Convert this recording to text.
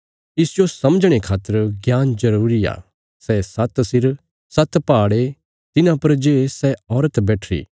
इसजो समझणे खातर ज्ञान जरूरी आ सै सात्त सिर सात्त पहाड़ ये तिन्हां पर जे सै औरत बैठीरी